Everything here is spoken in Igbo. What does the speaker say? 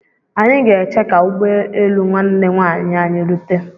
Anyị ga-eche ka ụgbọelu nwanne nwaanyị anyị rute.